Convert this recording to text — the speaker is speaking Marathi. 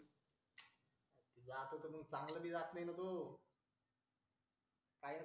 जातो तो चांगलं बी जात नाही ना तू